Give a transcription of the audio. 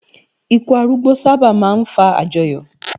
Ìkú árúgbó sábá má n fá ájòyò